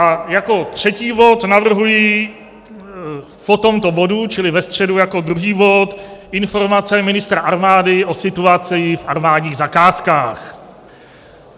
A jako třetí bod navrhuji po tomto bodu, čili ve středu jako druhý bod, informaci ministra armády o situaci v armádních zakázkách.